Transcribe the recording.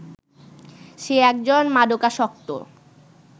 সে একজন মাদকাসক্ত